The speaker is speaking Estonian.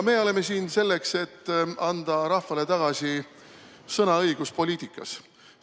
Me oleme siin selleks, et anda rahvale tagasi sõnaõigus poliitikas.